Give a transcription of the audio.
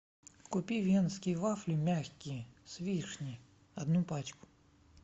купи венские вафли мягкие с вишней одну пачку